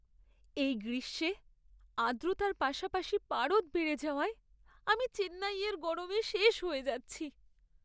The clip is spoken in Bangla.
এই গ্রীষ্মে আর্দ্রতার পাশাপাশি পারদ বেড়ে যাওয়ায় আমি চেন্নাইয়ের গরমে শেষ হয়ে যাচ্ছি।